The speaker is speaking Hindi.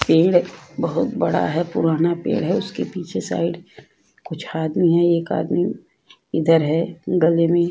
पेड़ बहोत बड़ा है। पुराना पेड़ है उसके पीछे साइड कुछ आदमी है। एक आदमी इधर है गले में --